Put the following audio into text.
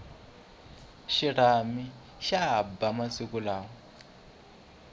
xirhami xa ba masiku lawa